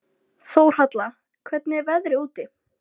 Þórhalla, hvernig er veðrið úti?